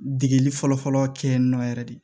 Degeli fɔlɔfɔlɔ kɛ yen nɔ yɛrɛ de